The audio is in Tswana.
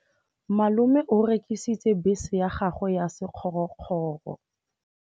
Malome o rekisitse bese ya gagwe ya sekgorokgoro.